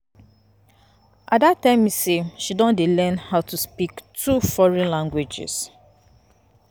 Ada tell me say she don learn how to speak two foreign languages